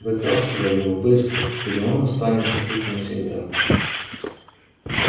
вытаскивай его быстро или он останется тут навсегда